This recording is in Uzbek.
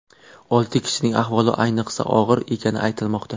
Olti kishining ahvoli ayniqsa og‘ir ekani aytilmoqda.